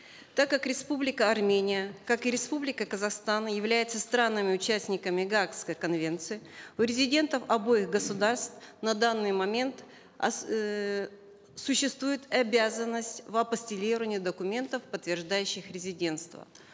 так как республика армения как и республика казахстан являются странами участниками гаагской конвенции у резидентов обоих государств на данный момент эээ существует обязанность в апостилировании документов подтверждающих резидентство